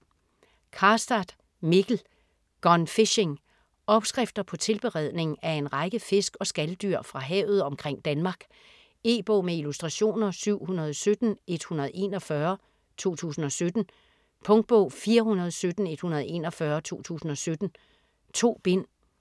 Karstad, Mikkel: Gone fishing Opskrifter på tilberedning af en række fisk og skaldyr fra havet omkring Danmark. E-bog med illustrationer 717141 2017. Punktbog 417141 2017. 2 bind.